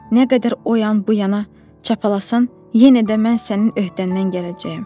Nə qədər o yan bu yana çapalasan, yenə də mən sənin öhdəndən gələcəyəm.